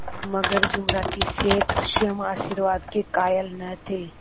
मगर जुमराती शेख स्वयं आशीर्वाद के कायल न थे